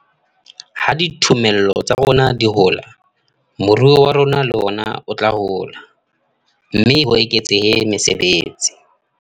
Ha dithomello tsa rona di hola, moruo wa rona le ona o tla hola, mme ho eketsehe mesebetsi.